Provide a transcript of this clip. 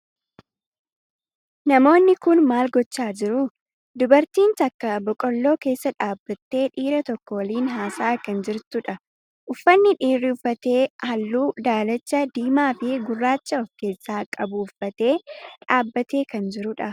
Namoonni kun maal gochaa jiru? Dubartiin takka boqqoolloo keessa dhaabbattee dhiira tokko waliin haasa'aa kan jirtudha. Uffanni dhiirri uffate halluu daalacha, diimaa fi gurraacha of keessaa qabu uffatee dhaabbatee kan jirudha.